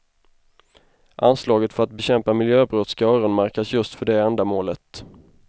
Anslaget för att bekämpa miljöbrott ska öronmärkas just för det ändamålet.